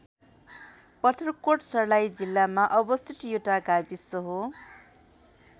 पत्थरकोट सर्लाही जिल्लामा अवस्थित एउटा गाविस हो।